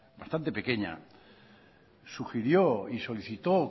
bastante pequeña sugirió y solicitó